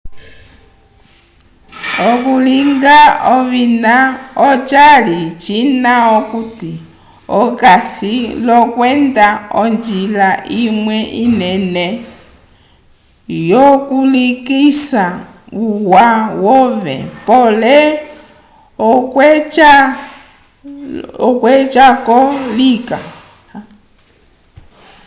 okulinga ovina ocali cina okuti okasi l'okwenda onjila imwe inene yokulekisa uwa wove pole okweca-ko lika